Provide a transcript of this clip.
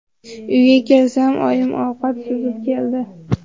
Uyga kelsam, oyim ovqat suzib keldi.